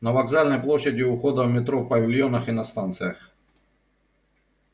на вокзальной площади у входа в метро в павильонах и на станциях